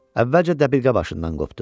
Əvvəlcə dəbilqə başından qopdu.